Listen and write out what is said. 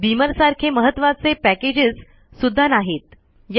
Beamer सारखे महत्वाचे packages सुद्धा नाहीत